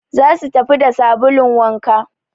za su tafi da sabulun wanka